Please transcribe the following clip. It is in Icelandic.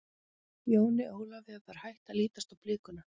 Jóni Ólafi var hætt að lítast á blikuna.